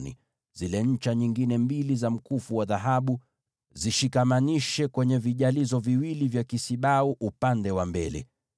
nazo zile ncha nyingine za mkufu zifunge kwenye vile vijalizo viwili, na uzishikamanishe na vile vipande vya mabega vya kile kisibau upande wa mbele.